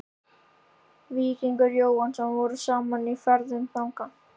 Víkingur Jóhannsson vorum saman í ferðum þangað.